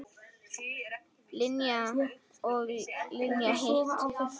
Linja þetta og Linja hitt.